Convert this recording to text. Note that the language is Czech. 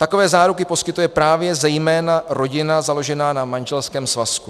Takové záruky poskytuje právě zejména rodina založená na manželském svazku.